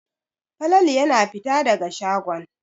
Falalu yana fita daga shagon.